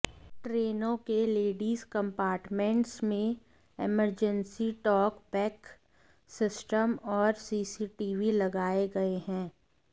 ट्रेनों के ladies compartments में इमरजेंसी टॉक बैक सिस्टम और सीसीटीवी लगाए गए हैं